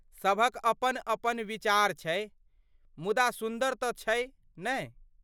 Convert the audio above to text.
सभक अपन अपन विचार छै, मुदा सुन्दर तँ छै, नहि ?